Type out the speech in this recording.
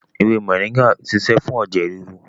Ewé moringa ń ṣiṣẹ́ fún ẹ̀jẹ̀ ríru